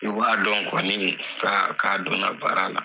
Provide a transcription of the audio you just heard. I b'a dɔn kɔni k'a k'a donna baara la